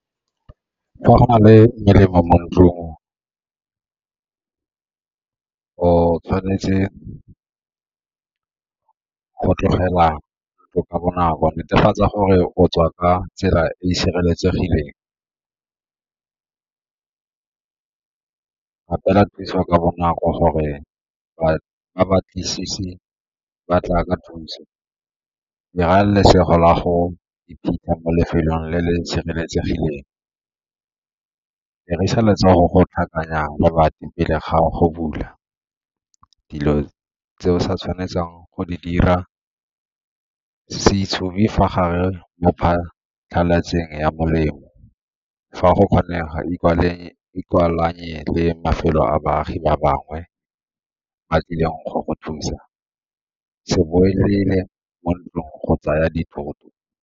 Fa go na le melelo mo ntlong, o tshwanetse go tlogela ka bonako, netefatsa gore o tswa ka tsela e e sireletsegileng ka thusa ka bonako gore ba tla ka thuso la go iphitlha mo lefelong le le sireletsegileng. Dirisa letsogo go tlhakanya lebati pele ga go bula. Dilo tse o sa tshwanetseng go di dira, se tsube fa gare mo phatlhalatseng ya molemo, fa go kgonega a baagi ba bangwe ba tlileng go go thusa, se boelele mo ntlong go tsaya dithoto.